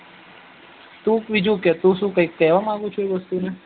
તું બીજું કે તું બીજું કઈ કેવાય માગ્યું એ વસ્તુ ને